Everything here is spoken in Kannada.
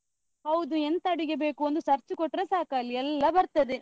ಹೌದು ಎಂತ ಅಡಿಗೆ ಬೇಕು, ಒಂದು search ಕೊಟ್ಟ್ರೆ ಸಾಕ್ ಅಲ್ಲಿ ಎಲ್ಲ ಬರ್ತದೆ.